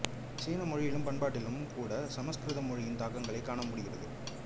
சீன மொழியிலும் பண்பாட்டிலும் கூடச் சமசுகிருத மொழியின் தாக்கங்கள் காணப்படுகின்றன